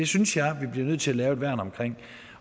synes jeg vi bliver nødt til at lave et værn omkring